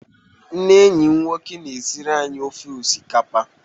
Nne enyi m nwoke na-esiri anyị ofe osikapa.